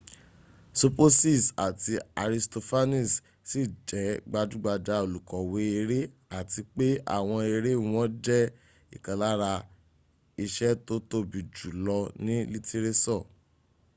sopocies àti aristophanes ṣì jẹ́ gbajúgbajà olùkọ̀wé eré àti pé àwọn eré wọn jẹ́ ìkan lára iṣẹ́ tó tóbi jù lọ ní lítírésọ̀